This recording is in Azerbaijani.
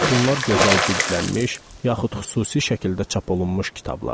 Bunlar gözəl cildlənmiş yaxud xüsusi şəkildə çap olunmuş kitablardır.